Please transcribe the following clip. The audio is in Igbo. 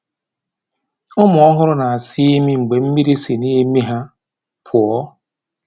Ụmụ ọhụrụ na-asa imi mgbe mmiri si n’imi ha pụọ.